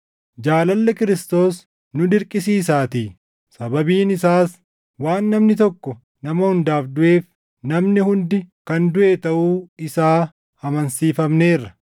Jaalalli Kiristoos nu dirqisiisaatii; sababiin isaas waan namni tokko nama hundaaf duʼeef namni hundi kan duʼe taʼuu isaa amansiifamneerra.